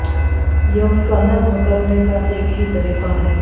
یہ ان کا نظم کرنے کا ایک ہی طریقہ ہے